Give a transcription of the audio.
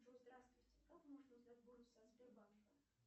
джой здравствуйте как можно узнать бонусы от сбербанка